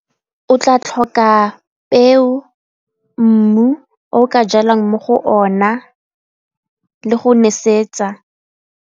O tla tlhoka peo, mmu o o ka jalang mo go ona le go nesetsa.